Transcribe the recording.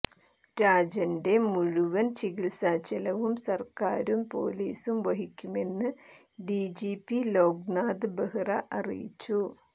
രാജന്റെ മുഴുവൻ ചികിത്സാ ചെലവും സർക്കാരും പൊലീസും വഹിക്കുമെന്ന് ഡിജിപി ലോകനാഥ് ബെഹ്റ അറിയിച്ചു